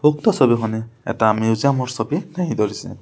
উক্ত ছবিখনে এটা মিউজিয়াম ৰ ছবি দাঙি ধৰিছে।